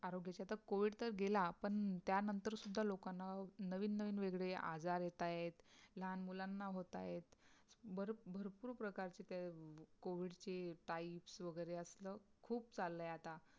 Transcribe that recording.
आरोग्य च्या तर COVID तर गेला पण त्यानंतर सुद्धा लोकांना नवीन नवीन वेगळे आजार येत आहेत. लहान मुलांना होत आहेत बर भरपूर प्रकारची त्या COVID चे types वगैरे असाल खूप चाललंय आता